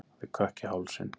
Hann fékk kökk í hálsinn.